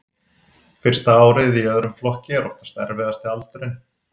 Fyrsta árið í öðrum flokki er oft erfiðasti aldurinn.